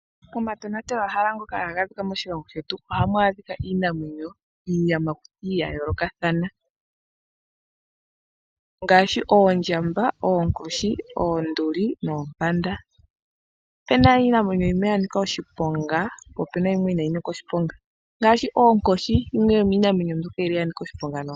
Omatonatelwahala ngoka haga adhika moshilongo shetu. Ohamu adhika iinamwenyo niiyamakuti ya yoolokathana. Ngaashi oondjamba, oonkoshi, oonduli noompanda. Ope na iinamwenyo yimwe ya nika oshiponga nayilwe inayi nika oshiponga, ngaashi oonkoshi yimwe yomiinamwenyo mbyoka yili ya nika oshiponga noonkondo.